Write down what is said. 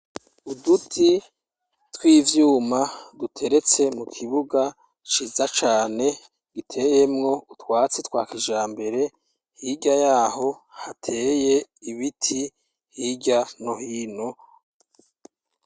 Uduti tw'ivyuma duteretse mu kibuga ciza cane giteyemwo utwatsi twa kija mbere hirya yaho hateye ibiti hirya nohino.